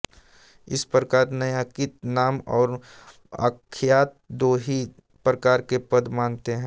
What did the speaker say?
इस प्रकार नैयायिक नाम और आख्यात दो ही प्रकार के पद मानते हैं